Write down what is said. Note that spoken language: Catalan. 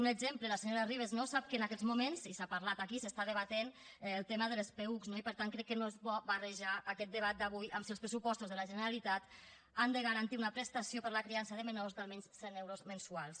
un exemple la senyora ribas sap que en aquests moments i s’ha parlat aquí s’està debatent el tema dels peücs no i per tant crec que no és bo barrejar aquest debat d’avui amb si els pressupostos de la generalitat han de garantir una prestació per a la criança de menors d’almenys cent euros mensuals